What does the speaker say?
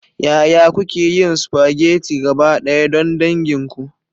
Yaya kuke yin spaghetti gabaɗaya don dangin ku?